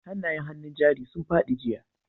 Hanayen hannun jari sun fadi jiya.